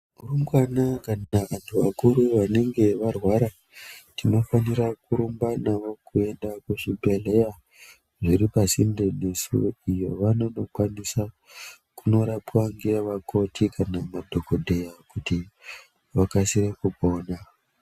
Varumbwana kana vanthu vakuru vanonge varwara tinofanira kurumba nawo kuenda kuzvibhehleya zviri pasinde nesu iyo vanonokwanisa kurapwa nevakoti kana madhokodheya kuti vakasire kupona.